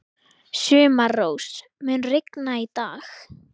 Sumarrós, mun rigna í dag?